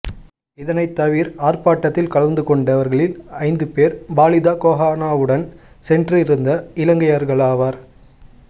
இதனைத் தவிர் ஆர்ப்பாட்டத்தில் கலந்துகொண்டவர்களில் ஐந்து பேர் பாலித கோஹனவுடன் சென்றிருந்த இலங்கையர்களாவர்